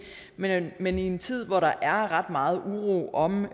men men i en tid hvor der er ret meget uro om